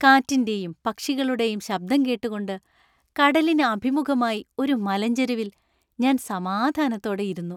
കാറ്റിന്‍റെയും പക്ഷികളുടെയും ശബ്ദം കേട്ടുകൊണ്ട് കടലിന് അഭിമുഖമായി ഒരു മലഞ്ചെരുവിൽ ഞാൻ സമാധാനത്തോടെ ഇരുന്നു.